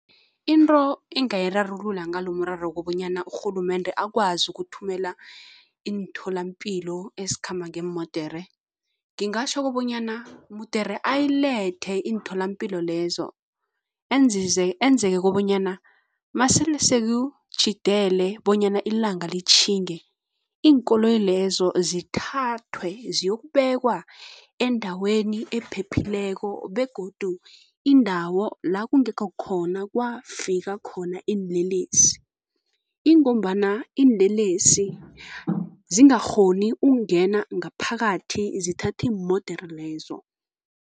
Into engingayirarulula ngalomraro umraro ukobanyana urhulumende akwazi ukuthumela iintholampilo ezikhamba ngeemodere. Ngingatjho kobanyana mudere ayilethe iintholampilo lezo enzeke kobanyana masele sekutjhidele bonyana ilanga litjhinge, iinkoloyi lezo zithathwe ziyokubekwa endaweni ephephileko begodu indawo la kungekho khona kwafika khona iinlelesi, ingombana iinlelesi zingakghoni ukungena ngaphakathi zithathe iimodere lezo.